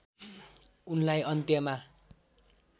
उनलाई अन्त्यमा